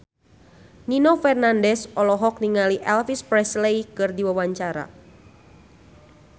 Nino Fernandez olohok ningali Elvis Presley keur diwawancara